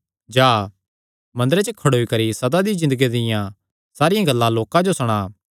जा मंदरे च खड़ोई करी सदा दी ज़िन्दगिया दियां सारियां गल्लां लोकां जो सणा